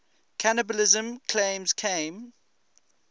cannibalism claims came